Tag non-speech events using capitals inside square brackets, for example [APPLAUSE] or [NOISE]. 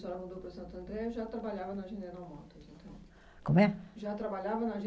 A senhora mudou para Santo André, já trabalhava na General Motors então? Como é?Já trabalhava na [UNINTELLIGIBLE]